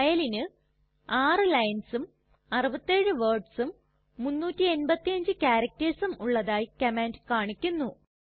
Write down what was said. ഫയലിന് 6 linesഉം 67 wordsഉം 385 charactersഉം ഉള്ളതായി കമാൻഡ് കാണിക്കുന്നു